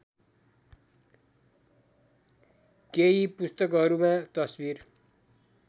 केही पुस्तकहरूमा तस्बिर